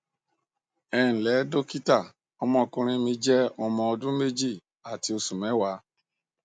ẹ ǹlẹ dọkítà ọmọkùnrin mi jẹ ọmọ ọdún méjì àti oṣù mẹwàá